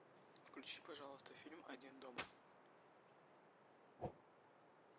включи пожалуйста фильм один дома